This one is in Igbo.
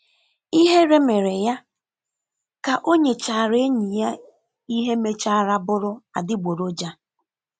Ihere mere ya ka o nyechara enyi ya ihe mechara bụrụ adịgboroja.